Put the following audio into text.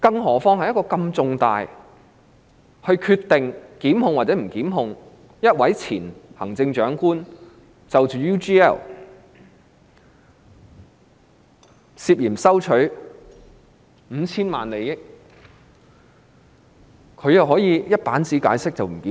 那是一個如此重大的決定，關乎會否檢控一位前行政長官涉嫌收取 UGL5,000 萬元的利益，但她卻只用一頁紙解釋不予檢控。